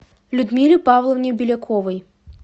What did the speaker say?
людмиле павловне беляковой